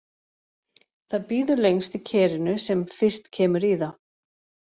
Það býður lengst í kerinu sem fyrst kemur í það.